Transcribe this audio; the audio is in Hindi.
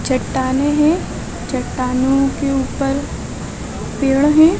चट्टानें हैं चट्टानें के ऊपर पेड़ हैं।